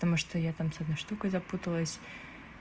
потому что я там с одной штукой запуталась